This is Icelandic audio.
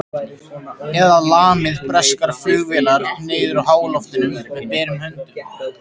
Eða lamið breskar flugvélar niður úr háloftunum með berum höndum?